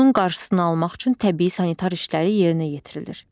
Bunun qarşısını almaq üçün təbii sanitar işləri yerinə yetirilir.